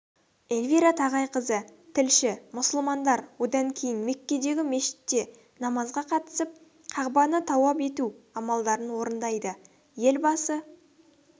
эльвира тағайқызы тілші мұсылмандар одан кейін меккедегі мешітте намазға қатысып қағбаны тауап ету амалдарын орындайды елбасы